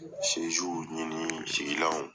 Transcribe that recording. Sɛjiw ɲini sigilanw